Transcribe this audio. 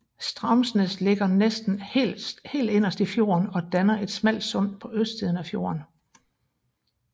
Straumsnes ligger næsten helt inderst i fjorden og danner et smalt sund på østsiden af fjorden